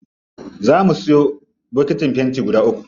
Zaa mu siyo bokitin fenti guda uku.